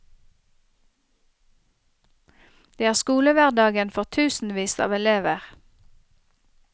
Det er skolehverdagen for tusenvis av elever.